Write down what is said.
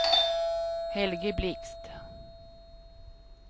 Helge Blixt